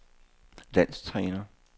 landstræner